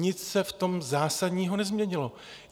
Nic se v tom zásadního nezměnilo.